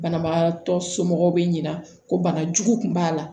Banabagatɔ somɔgɔw bɛ ɲina ko bana jugu kun b'a la